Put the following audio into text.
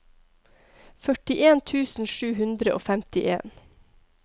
førtien tusen sju hundre og femtien